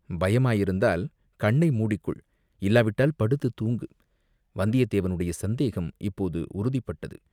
பயமாயிருந்தால் கண்ணை மூடிக்கொள் இல்லாவிட்டால் படுத்தூங்கு!" வந்தியத்தேவனுடைய சந்தேகம் இப்போது உறுதிப்பட்டது.